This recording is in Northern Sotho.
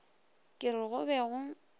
ke re go be go